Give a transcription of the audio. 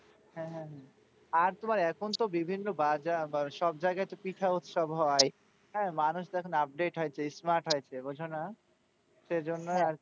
হ্যাঁ হ্যাঁ হ্যাঁ। আর তোমার এখন তো বিভিন্ন বাজার বা সব জায়গায় তো পিঠা উৎসব হয় হ্যাঁ, মানুষ তো এখন update হয়েছে smart হয়েছে বোঝো না, সেইজন্য আরকি,